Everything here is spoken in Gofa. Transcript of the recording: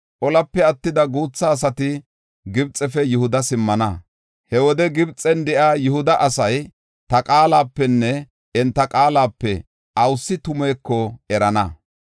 Olape attida guutha asati Gibxefe Yihuda simmana. He wode Gibxen de7iya Yihuda asay, ta qaalapenne enta qaalape awusi tumeeko erana.